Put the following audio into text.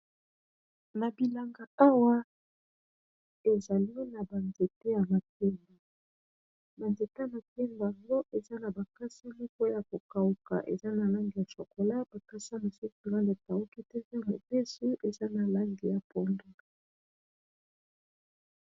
nabilanga awa ezali na ba nzete ya makemba. ba nzete ya makemba yango eza na makasa moko ya kokawuka eza na langi ya shokola bakasa makasa mosusu ekawuki te eza mobesu eza na langi ya pondu